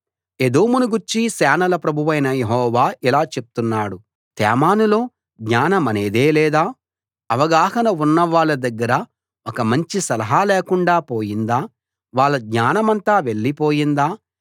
ఏదోమును గూర్చి సేనల ప్రభువైన యెహోవా ఇలా చెప్తున్నాడు తేమానులో జ్ఞానమనేదే లేదా అవగాహన ఉన్న వాళ్ళ దగ్గర ఒక మంచి సలహా లేకుండా పోయిందా వాళ్ళ జ్ఞానమంతా వెళ్లిపోయిందా